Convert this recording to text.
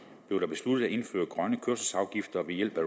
blev det besluttet at indføre grønne kørselsafgifter ved hjælp af